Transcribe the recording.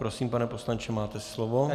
Prosím, pane poslanče, máte slovo.